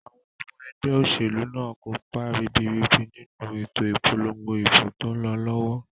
Àwon omo egbé òsèlú náà nkópa ribiribi nínu ètò ìpolongo ìbò tón lo lówó